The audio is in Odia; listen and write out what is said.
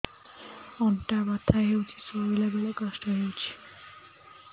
ଅଣ୍ଟା ବଥା ହଉଛି ଶୋଇଲା ବେଳେ କଷ୍ଟ ହଉଛି